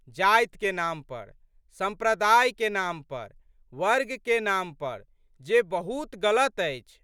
जातिके नाम पर, सम्प्रदायके नाम पर, वर्गके नाम पर जे बहुत गलत अछि।